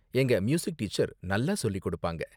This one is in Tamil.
எங்க மியூசிக் டீச்சர் நல்லா சொல்லிக் கொடுப்பாங்க.